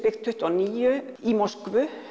tuttugu og níu í Moskvu